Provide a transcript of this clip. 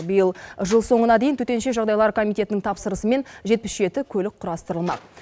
биыл жыл соңына дейін төтенше жағдайлар комитетінің тапсырысымен жетпіс жеті көлік құрастырылмақ